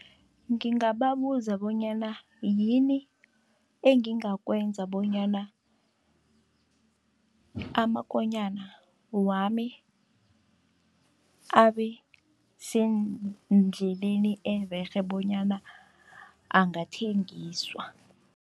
Ngingababuza bonyana yini engingakwenza, bonyana amakonyana wami abe sendleleni ererhe bonyana angathengiswa.